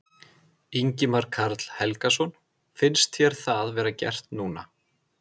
Ingimar Karl Helgason: Finnst þér það vera gert núna?